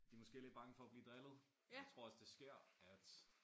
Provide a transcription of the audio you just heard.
De måske lidt bange for at blive drillet og jeg tror også det sker at